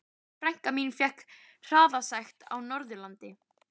Frænka mín fékk hraðasekt á Norðurlandi.